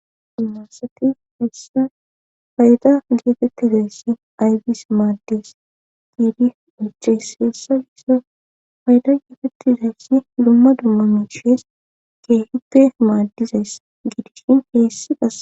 dimarsati hessa hayda gietettizayssi aybis maaddes giidi uchesseessa yiso hayda yetettizayssi dumma dumma miishees keehuppe maaddizayss giidishin heessi gas